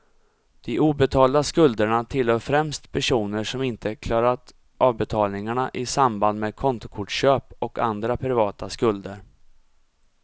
De obetalda skulderna tillhör främst personer som inte klarat avbetalningarna i samband med kontokortsköp och andra privata skulder.